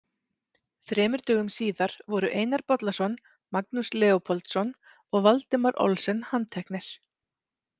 Þremur dögum síðar voru Einar Bollason, Magnús Leópoldsson og Valdimar Olsen handteknir.